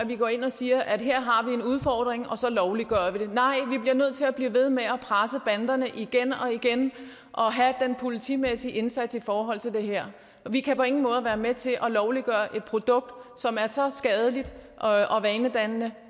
vi går ind og ser at vi har en udfordring og så lovliggør vi det nej vi bliver nødt til at blive ved med at presse banderne igen og igen og have den politimæssige indsats i forhold til det her vi kan på ingen måde være med til at lovliggøre et produkt som er så skadeligt og vanedannende